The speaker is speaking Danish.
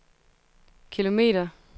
kilometer